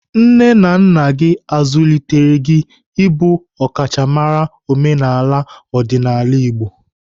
Nne na nna gị azụlitere gị ịbụ ọkachamara omenaala na ọdịnala Ndigbo?